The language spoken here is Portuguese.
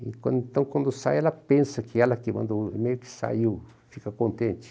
E quando, então, quando sai, ela pensa que ela que mandou o e-mail que saiu, fica contente.